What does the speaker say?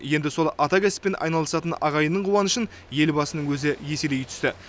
енді сол атакәсіппен айналысатын ағайынның қуанышын елбасының өзі еселей түсті